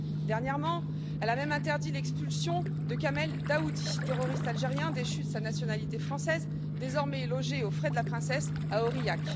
Dernièrement, elle a même interdit l'expulsion de Kamel Daoudi, terroriste algérien déchu de sa nationalité française, désormais logé aux frais de la princesse à Aurillac.